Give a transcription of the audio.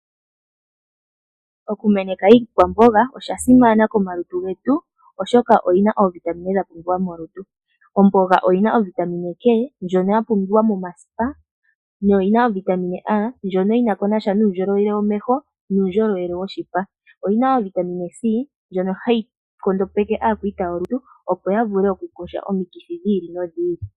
Okumeneka iikwamboga osha simana komalutu getu oshoka oyi na oovitamina dha pumbiwa molutu. Omboga oyi na ovitamina K ndjono ya pumbiwa momasipa noyi na ovitamina A ndjono yina ko nasha nuundjolowele womeho nuundjolowele woshipa. Oyi na wo ovitamina C ndjono hayi nkondopeke aakwiita yolutu opo ya vule okukondja omikithi dhi ili nodhi ili.